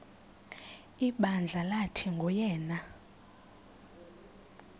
ibandla lathi nguyena